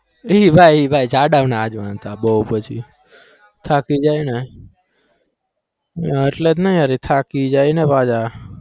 એ ભાઈ એ ભાઈ જડાઓ ને આજ વાંધા બહુ પછી થાકી જાયને એટલે જ ને યાર એ થાકી જાય ને પાછા